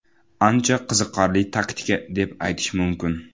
Ancha qiziqarli taktika deb aytish mumkin.